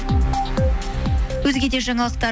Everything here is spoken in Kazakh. өзге де жаңалықтар